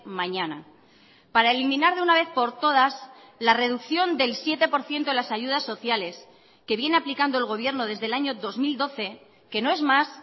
mañana para eliminar de una vez por todas la reducción del siete por ciento de las ayudas sociales que viene aplicando el gobierno desde el año dos mil doce que no es más